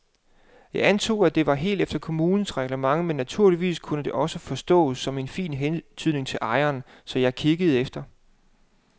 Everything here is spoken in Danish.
Jeg antog, at det var helt efter kommunens reglement men naturligvis kunne det også forstås som en fin hentydning til ejeren, så jeg kiggede efter.